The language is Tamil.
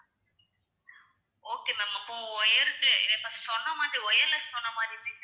okay ma'am அப்போ wire க்கு சொன்னமாதிரி wireless க்கு சொன்னமாதிரி இருந்துச்சு